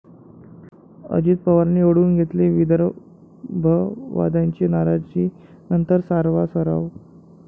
अजित पवारांनी ओढावून घेतली विदर्भवाद्यांची नाराजी नंतर सारवासारव!